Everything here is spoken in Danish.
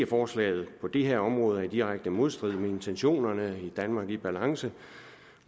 forslaget på det her område er i direkte modstrid med intentionerne i danmark i balance